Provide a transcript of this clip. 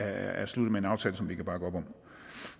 er sluttet med en aftale vi kan bakke op om